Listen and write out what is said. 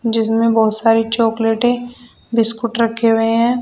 जिसमें बोहोत सारी चॉकलेटें बिस्कुट रखे हुए हैं।